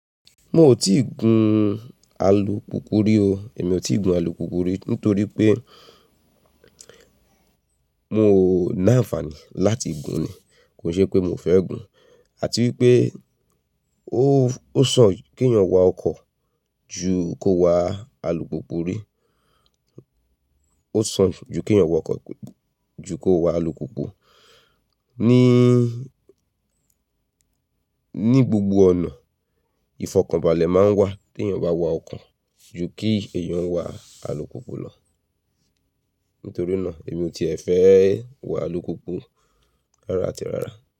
Mo ò tíì gun alùpùpù rí o, èmi ò tíì gun alùpùpù rí nítorí pé mo ná àǹfààní láti gun ni, kò ṣe pé mo fẹ́ gun. Àti wípé ó, ó sàn kí èèyàn wa ọkọ̀ ju kó wa alùpùpù rí, ó sàn ju kí èèyàn wa ọkọ̀ ju kó wa alùpùpù. Ní, ní gbogbo ọ̀nà, ìfọ̀kànbalẹ̀ máa ń wà tí èèyàn bá wa ọkọ̀ ju kí èèyàn wa alùpùpù lọ. Nítorí náà èmi ò tíìẹ fẹ́ wa alùpùpù rárá àti rárá.